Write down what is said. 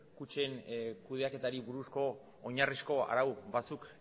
kutxen kudeaketari buruzko oinarrizko arau batzuk